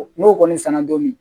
N'o kɔni sanna dɔɔnin